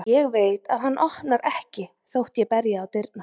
Ég veit að hann opnar ekki þótt ég berji á dyrnar.